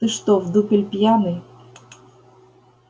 ты что в дупель пьяный